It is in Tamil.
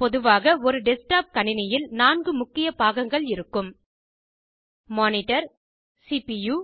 பொதுவாக ஒரு டெஸ்க்டாப் கணினியில் 4 முக்கிய பாகங்கள் இருக்கும் மானிடர் சிபுயூ